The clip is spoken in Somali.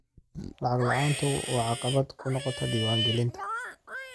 Lacag la'aantu waxay caqabad ku noqotaa diiwaangelinta.